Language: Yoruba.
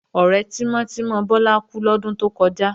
Ọ̀rẹ́ tímọ́ tímọ́ Bọ́lá kú lọ́dún tó kọjá